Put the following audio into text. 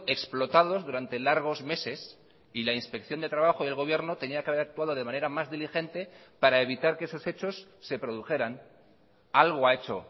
explotados durante largos meses y la inspección de trabajo del gobierno tenía que haber actuado de manera más diligente para evitar que esos hechos se produjeran algo ha hecho